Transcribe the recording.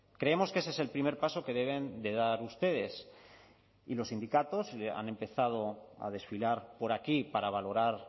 creemos que ese es el primer paso que deben de dar ustedes y los sindicatos han empezado a desfilar por aquí para valorar